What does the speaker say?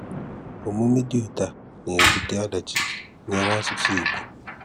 Ómúmè dị̀ ótù à nà-ébutè ọ̀dáchì nyèrè àsụ̀sụ̀ Ìgbò.